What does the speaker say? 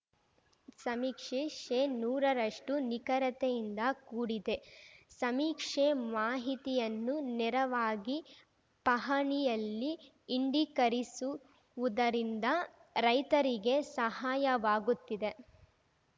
ಸಮೀಕ್ಷೆ ಶೇನೂರ ರಷ್ಟುನಿಖರತೆಯಿಂದ ಕೂಡಿದೆ ಸಮೀಕ್ಷೆ ಮಾಹಿತಿಯನ್ನು ನೇರವಾಗಿ ಪಹಣಿಯಲ್ಲಿ ಇಂಡಿಕರಿಸುವುದರಿಂದ ರೈತರಿಗೆ ಸಹಾಯವಾಗುತ್ತಿದೆ